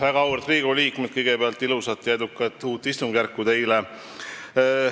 Väga auväärt Riigikogu liikmed, kõigepealt ilusat ja edukat uut istungjärku teile!